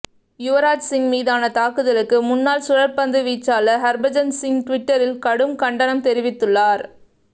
யுவராஜ்சிங் மீதான் தாக்குதலுக்கு முனனாள் சுழற்பந்து வீச்சாளர் ஹர்பஜன்சிங் டுவிட்டரில் கடும் கண்டனம் தெரிவித்துள்ளார்